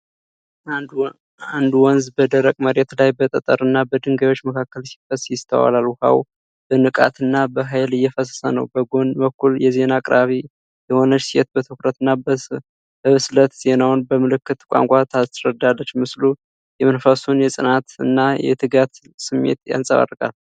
አንድ ወንዝ በደረቅ መሬት ላይ በጠጠርና በድንጋዮች መካከል ሲፈስ ይስተዋላል። ውሃው በንቃት እና በኃይል እየፈሰሰ ነው። በጎን በኩል የዜና አቅራቢ የሆነች ሴት በትኩረትና በብስለት ዜናውን በምልክት ቋንቋ ታስረዳለች። ምስሉ የመንፈስን የጽናትን እና የትጋትን ስሜት ያንጸባርቃል።